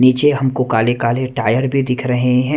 नीचे हमको काले काले टायर भी दिख रहे हैं।